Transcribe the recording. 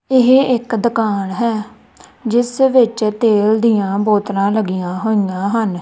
ਇਹ ਇੱਕ ਦੁਕਾਨ ਹੈ ਜਿਸ ਵਿਚ ਤੇਲ ਦਿਆਂ ਬੋਤਲਾਂ ਲਗਿਆ ਹੋਇਆਂ ਹਨ।